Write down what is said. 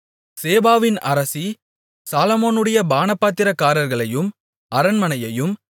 சேபாவின் அரசி சாலொமோனுடைய பானபாத்திரக்காரர்களையும் அரண்மனையையும்